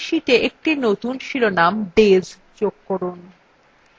এখন এই শিটa একটি নতুন শিরোনাম days যোগ করুন